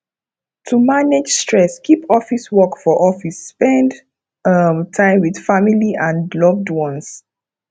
to manage stress keep office work for office spend um time with family and loved ones